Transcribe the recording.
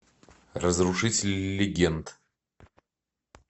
разрушители легенд